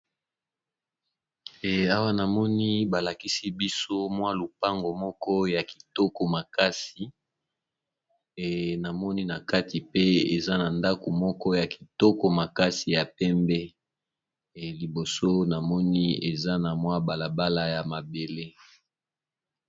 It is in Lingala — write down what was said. Swa namoni balakisi biso mwa lupango moko ya kitoko makasi namoni na kati pe eza na ndako moko ya kitoko makasi ya pembe liboso namoni eza na mwa balabala ya mabele.